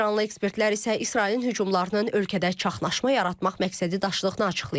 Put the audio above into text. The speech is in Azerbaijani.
İranlı ekspertlər isə İsrailin hücumlarının ölkədə çaşqınlıq yaratmaq məqsədi daşıdığını açıqlayıblar.